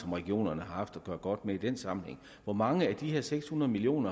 regionerne har haft at gøre godt med i den sammenhæng hvor mange af de her seks hundrede million